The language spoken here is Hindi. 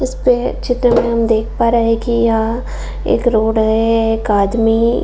इसपे चित्र में हम देख पा रहे है कि यह एक रोड है एक आदमी --